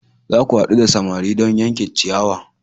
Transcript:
Za ku haɗu da samari don yanke ciyawa!